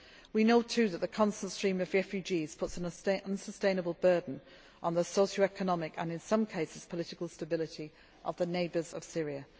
We know too that the constant stream of refugees puts an unsustainable burden on the socio economic and, in some cases, political stability of the neighbours